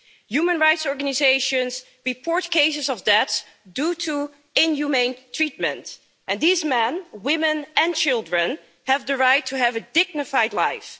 Human rights organisations report cases of deaths due to inhumane treatment, and these men, women and children have the right to have a dignified life.